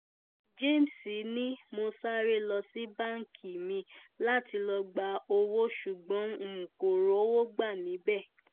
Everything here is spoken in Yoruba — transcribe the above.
james ni mo sáré lọ sí báńkì mi láti lọ́ọ́ gba owó ṣùgbọ́n n kò rówó gbà níbẹ̀